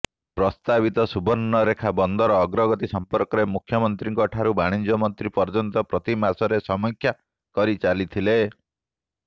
ପ୍ରସ୍ତାବିତ ସୁବର୍ଣ୍ଣରେଖା ବନ୍ଦର ଅଗ୍ରଗତି ସଂପର୍କରେ ମୁଖ୍ୟମନ୍ତ୍ରୀଙ୍କଠାରୁ ବାଣିଜ୍ୟମନ୍ତ୍ରୀ ପର୍ଯ୍ୟନ୍ତ ପ୍ରତିମାସରେ ସମୀକ୍ଷା କରି ଚାଲିଥିଲେ